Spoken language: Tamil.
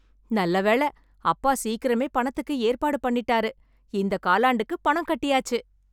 நல்ல வேள அப்பா சீக்கிரமே பணத்துக்கு ஏற்பாடு பண்ணிட்டாரு, இந்த காலாண்டுக்கு பணம் கட்டியாச்சு.